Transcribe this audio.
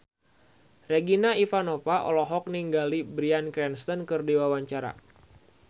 Regina Ivanova olohok ningali Bryan Cranston keur diwawancara